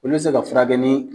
Olu bɛ se ka furakɛ ni